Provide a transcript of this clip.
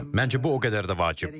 Məncə bu o qədər də vacib deyil.